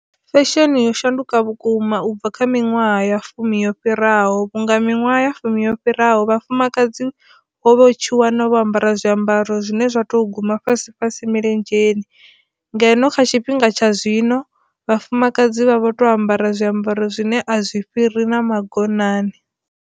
Fesheni yo shanduka vhukuma ubva kha miṅwaha ya fumi yo fhiraho vhunga miṅwaha ya fumi yo fhiraho Vhafumakadzi wo vha u tshi wana vho ambara zwiambaro zwine zwa to guma fhasi fhasi milenzheni ngeno kha tshifhinga tsha zwino Vhafumakadzi vha vha tea u ambara zwiambaro zwine a zwi fhiri na magonani.